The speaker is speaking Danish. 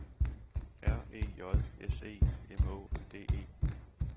R E J S E M Å D E